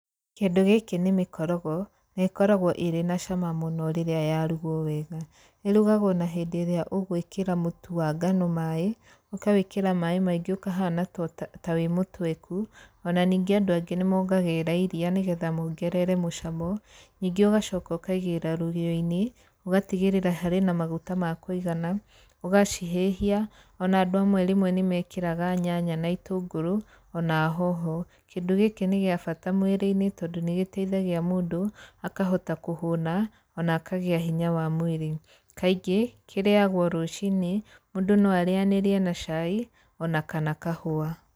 Kĩndũ gĩkĩ nĩ mĩkorogo, na ĩkoragwo ĩrĩ na cama mũno rĩrĩa yarugwo wega. Ĩrugagwo na hindĩ ĩrĩa ũgwĩkĩra mutu wa ngano maĩ, ũkawĩkĩra maĩ maingĩ ũkahana ta wĩ mũtweku, ona ni ngĩ andũ angĩ nĩmongagĩrĩraa iria nĩgetha mongerere mũcamo, ningĩ ũgacoka ũkaigĩra rũgĩoinĩ, ũgatigĩrĩrĩa harĩ na maguta ma kũigana, ũgacihĩhia, ona andũ amwe rĩmwe nĩmekĩraga nyanya na itũngũrũ, ona hoho. Kindũ gĩkĩ nĩgĩabata mwĩriĩnĩ, tondũ nĩgĩteithagia mũndũ akahota kũhũna, ona akagĩa hinya wa mwĩrĩ. Kaingĩ kĩrĩagwo rũcinĩ, mũndũ no arĩanĩrie na cai, ona kana kahũa.